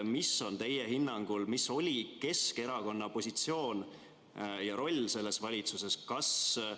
Milline oli teie hinnangul Keskerakonna positsioon ja roll eelmises valitsuses?